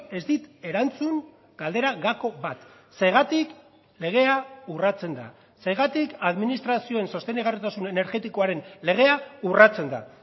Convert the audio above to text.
ez dit erantzun galdera gako bat zergatik legea urratzen da zergatik administrazioen sostengarritasun energetikoaren legea urratzen da